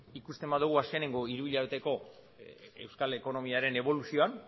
ikusten badugu azkeneko hiruhilabeteko euskal ekonomiaren eboluzioan